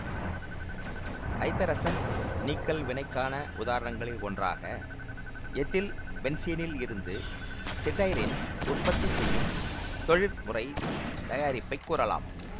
ஐதரசன் நீக்கல் வினைக்கான உதாரணங்களில் ஒன்றாக எத்தில்பென்சீனில் இருந்து சிடைரின் உற்பத்தி செய்யும் தொழிற்முறை தயாரிப்பை கூறலாம்